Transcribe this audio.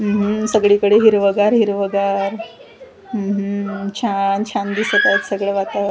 उम्म हम्म सगळीकडे हिरवंगार हिरवंगार उम्म हम्म छान छान दिसत आहेत सगळं वातावर--